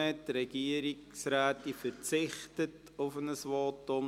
Die Regierungsrätin verzichtet auf ein Votum.